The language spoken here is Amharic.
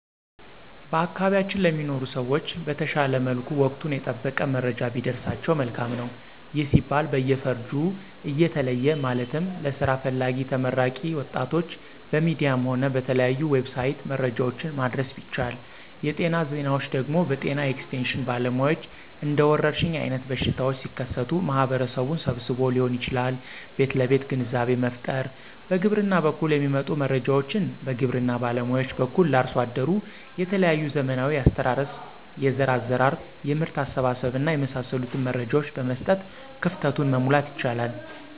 በአካባቢያችን ለሚኖሩ ሰዎች በተሻለ መልኩ ወቀቱን የጠበቀ መረጃ ቢደርሳቸው መልካም ነው። ይህም ሲባል በየፈርጁ እየተለየ ማለትም ለስራ ፈላጊ ተመራቂ ወጣቶች በሚዲያም ሆነ በተለያዩ"ዌብሳይት"መረጃዎችን ማድረስ ቢቻል, የጤና ዜናዎች ደግሞ በጤና ኤክስቴሽን ባለሙያዎች እንደወረርሽኝ አይነት በሽታዎች ሲከሰቱ ማህበረሰቡን ሰብስቦዎ ሊሆን ይችላል ቤት ለቤት ግንዛቤ መፍጠር፣ በግብርና በኩል የሚመጡ መረጃዎችን በግብርና ባለሙያዎች በኩል ለአርሶ አደሩ የተለያዩ ዘመናዊ የአስተራረስ፣ የዘር አዘራር፣ የምርት አሰባሰብ እና የመሳሰሉትን መረጃዎች በመስጠት ክፍተቱን, መሙላት ይቻላል።